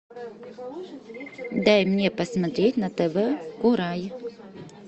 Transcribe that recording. дай мне посмотреть на тв курай